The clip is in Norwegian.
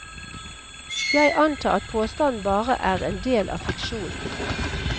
Jeg antar at påstanden bare er en del av fiksjonen.